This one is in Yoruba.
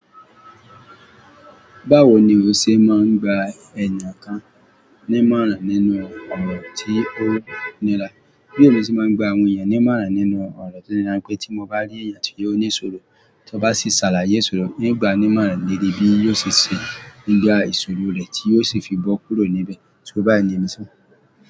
Báwo ni o ṣe máa ń gba èèyàn kan ní ìmọ̀ràn nínú ọ̀rọ̀ tí o ní rá? Bí èmi ti máa ń gba àwọn èèyàn ní ìmọ̀ràn nínú ọ̀rọ̀ tó ní rá pé tí mo bá rí èèyàn tí ó ní ìṣòro, tí ó bá sì ṣàlàyé ìṣòro, ìgbà ní ìmọ̀ràn léè ré bí yóò ṣe ṣe nígbà ìṣòro rẹ̀ tí yóò sì fi bọ́ kúrò níbẹ̀ tí ó bá ń lemi sán.